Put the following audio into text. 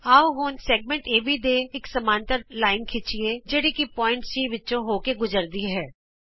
ਆਉ ਹੁਣ ਵ੍ਰਤ ਖੰਡ ਏਬੀ ਤੇ ਇਕ ਸਮਾਂਤਰ ਰੇਖਾ ਖਿੱਚੀਏ ਜਿਹੜੀ ਕਿ ਬਿੰਦੂ C ਵਿਚੋਂ ਕੱਟ ਕੇ ਗੁਜਰਦੀ ਹੈ